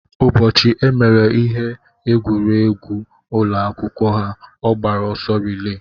Ụbọchị emere ihe egwuregwu n'ụlọ akwụkwọ ha, ọ gbara ọsọ rilee.